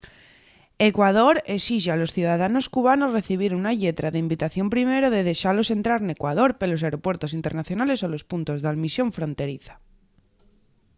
ecuador esixe a los ciudadanos cubanos recibir una lletra d'invitación primero de dexalos entrar n’ecuador pelos aeropuertos internacionales o los puntos d’almisión fronteriza